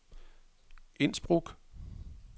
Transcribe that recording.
Innsbruck